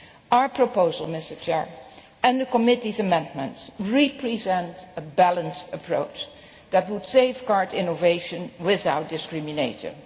page. Our proposal and the committee's amendments represent a balanced approach that would safeguard innovation without discrimination.